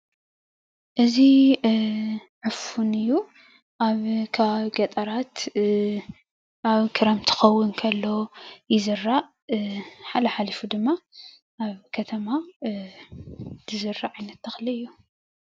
እዚ ዕፉን እዩ ኣብ ከባቢ ገጠራት ኣብ ክረምቲ እንትከውን ከሎ ይዝራእ፣ ሓል ሓሊፉ ድማ ኣብ ከተማ ዝዝራእ ዓይነት ተክሊ እዩ፡፡